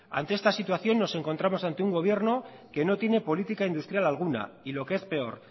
ante esta situación nos encontramos ante un gobierno que no tiene política industrial alguna y lo que es peor